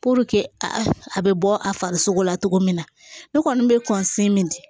a bɛ bɔ a farisogo la cogo min na ne kɔni bɛ min di